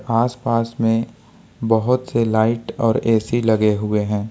आसपास में बहुत से लाइट और ए_सी लगे हुए हैं।